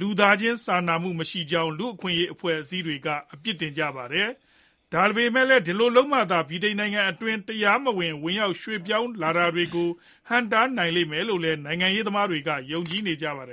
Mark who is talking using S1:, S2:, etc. S1: လူသားချင်း စာနာမှုမရှိကြောင်း လူ့အခွင့်အရေးအဖွဲ့အစည်းတွေက ပြစ်တင်ကြပါတယ်။ ဒါပေမယ့်လည်း ဒီလိုလုပ်မှသာ ဗြိတိန်နိုင်ငံအတွင်းကို တရားမဝင် ဝင်ရောက် ရွှေ့ပြောင်းလာတာတွေကို ဟန့်တားနိုင်လိမ့်မယ်လို့လည်း နိုင်ငံရေးသမားတွေက ယုံကြည်နေကြပါတယ်